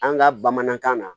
An ka bamanankan na